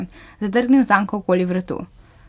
Zadrgnil zanko okoli vratu?